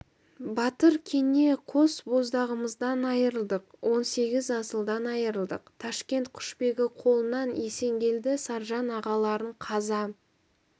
батыр кене қос боздағымыздан айырылдық он сегіз асылдан айырылдық ташкент құшбегі қолынан есенгелді саржан ағаларың қаза